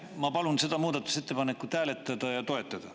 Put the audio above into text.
Ma palun seda muudatusettepanekut hääletada ja toetada.